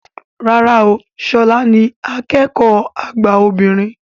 Rárá o, ṣọlá ni akẹ́kọ̀ọ́ àgbà obìnrin